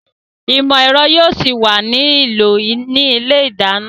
Ìmọ̀ ẹ̀rọ yóò ṣì wà ní ìlò ní ilé ìdáná